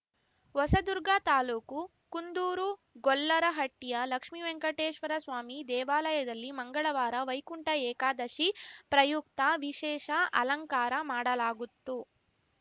ಹೊಸದುರ್ಗ ತಾಲೂಕು ಕುಂದೂರು ಗೊಲ್ಲರಹಟ್ಟಿಯ ಲಕ್ಷ್ಮಿವೆಂಕಟೇಶ್ವರಸ್ವಾಮಿ ದೇವಾಲಯದಲ್ಲಿ ಮಂಗಳವಾರ ವೈಕುಂಠ ಏಕಾದಶಿ ಪ್ರಯುಕ್ತ ವಿಶೇಷ ಅಲಂಕಾರ ಮಾಡಲಾಗುತ್ತು